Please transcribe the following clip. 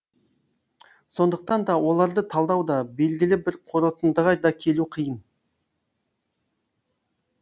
сондықтан да оларды талдау да белгілі бір қорытындыға да келу қиын